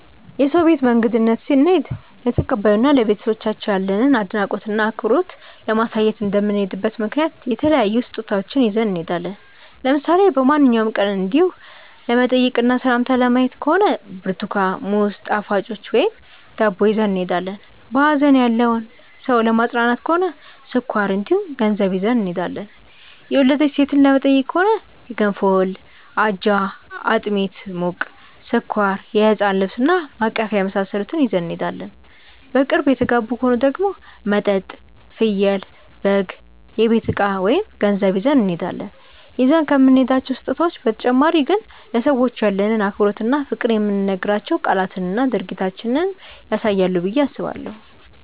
የሰው ቤት በእንግድነት ስንሄድ ለተቀባዩ እና ለቤተሰቦቻቸው ያለንን አድናቆት እና አክብሮት ለማሳየት እንደምንሄድበት ምክንያት የተለያዩ ስጦታዎችን ይዘን እንሄዳለን። ለምሳሌ በማንኛውም ቀን እንዲው ለመጠያየቅ እና ሰላም ለማየት ከሆነ ብርትኳን፣ ሙዝ፣ ጣፋጮች ወይም ዳቦ ይዘን እንሄዳለን። በሀዘን ያለን ሰው ለማፅናናት ከሆነ ስኳር እንዲሁም ገንዘብ ይዘን እንሄዳለን። የወለደች ሴትን ለመጠየቅ ከሆነ የገንፎ እህል፣ አጃ፣ አጥሚት (ሙቅ)፣ስኳር፣ የህፃን ልብስ እና ማቀፊያ የመሳሰሉትን ይዘን እንሄዳለን። በቅርብ የተጋቡ ከሆኑ ደግሞ መጠጥ፣ ፍየል/በግ፣ የቤት እቃ ወይም ገንዘብ ይዘን እንሄዳለን። ይዘን ከምንሄዳቸው ስጦታዎች በተጨማሪ ግን ለሰዎቹ ያለንን አክብሮት እና ፍቅር የምንናገራቸው ቃላትና ድርጊታችንም ያሳያሉ ብዬ አስባለሁ።